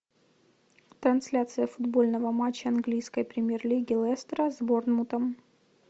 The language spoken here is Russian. трансляция футбольного матча английской премьер лиги лестера с борнмутом